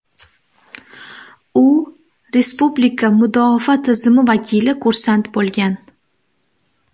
U respublika mudofaa tizimi vakili kursant bo‘lgan.